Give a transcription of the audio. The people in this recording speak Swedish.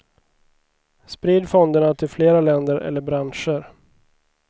Sprid fonderna till flera länder eller branscher.